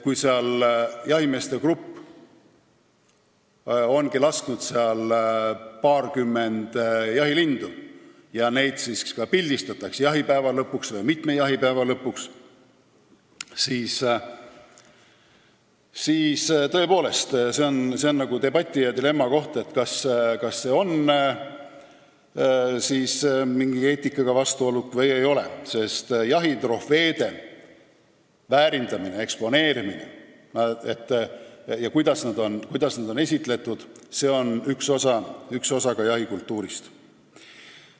Kui jahimeeste grupp on lasknud paarkümmend jahilindu ja neid ka pildistatakse jahipäeva lõpus, siis see on tõepoolest debati ja dilemma koht, kas see on või ei ole mingi eetikaga vastuolus, sest jahitrofeede väärindamine, eksponeerimine ja see, kuidas neid esitletakse, on üks osa jahikultuurist.